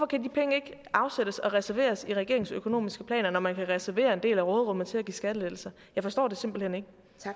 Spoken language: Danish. kan de penge ikke afsættes og reserveres i regeringens økonomiske planer når man kan reservere en del af råderummet til at give skattelettelser jeg forstår det simpelt hen ikke